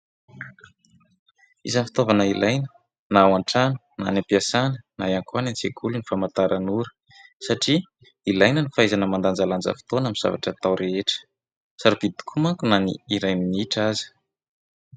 Isan'ny fitaovana ilaina na ao an-trano na any am-piasana na ihany koa any an-tsekoly ny famantaran'ora satria ilaina ny fahaizana mandanjalanja fotoana amin'ny zavatra atao rehetra. Sarobidy tokoa manko na ny iray minitra aza.